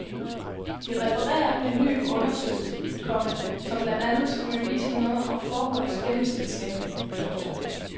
De refererer en ny undersøgelse, komma som blandt andet skulle vise noget om forholdets gennemsnitslængde. punktum